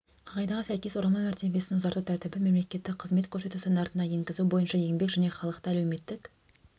қағидаға сәйкес оралман мәртебесін ұзарту тәртібін мемлекеттік қызмет көрсету стандартына енгізу бойынша еңбек және халықты әлеуметтік